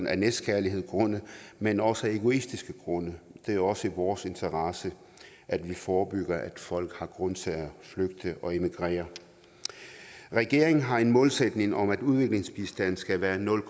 af næstekærlighedsgrunde men også af egoistiske grunde det er også i vores interesse at vi forebygger at folk har grund til at flygte og emigrere regeringen har en målsætning om at udviklingsbistanden skal være nul